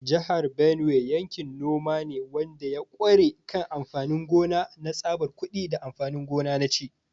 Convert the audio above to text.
Jihar Benue yankin noma ne wanda ya ƙware kan amfanin gona na tsabar kuɗi da amfanin gona na ci.